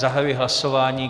Zahajuji hlasování.